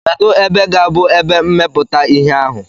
Kedu ebe ga-abụ ebe mmepụta ihe ahụ?